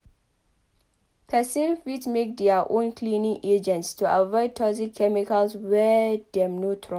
Person fit make their own cleaning agents to avoid toxic chemicals wey dem no trust